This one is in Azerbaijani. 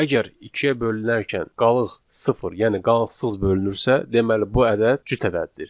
Əgər ikiyə bölünərkən qalıq sıfır, yəni qalıqsız bölünürsə, deməli bu ədəd cüt ədəddir.